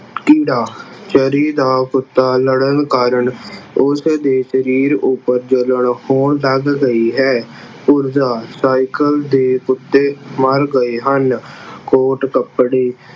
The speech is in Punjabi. ਕੀੜਾ ਚਰੀ ਦਾ ਕੁੱਤਾ ਕੀੜਾ ਲੜਨ ਕਾਰਨ ਉਸਦੇ ਸਰੀਰ ਉੱਪਰ ਜਲਨ ਹੋਣ ਲੱਗ ਗਈ ਹੈ। ਪੁਰਜਾ cycle ਦੇ ਕੁੱਤੇ ਮਰ ਗਏ ਹਨ। coat ਕੱਪੜੇ